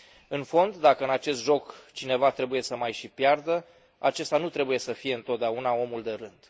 În fond, dacă în acest joc cineva trebuie să mai și piardă, acesta nu trebuie să fie întotdeauna omul de rând.